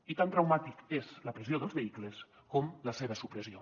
i tan traumàtica és la pressió dels vehicles com la seva supressió